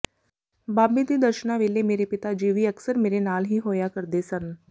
ਬਾਬੇ ਦੇ ਦਰਸ਼ਨਾਂ ਵੇਲੇ ਮੇਰੇ ਪਿਤਾ ਜੀ ਵੀ ਅਕਸਰ ਮੇਰੇ ਨਾਲ ਹੀ ਹੋਇਆ ਕਰਦੇ ਸਨ